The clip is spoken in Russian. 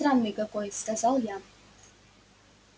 странный какой сказал я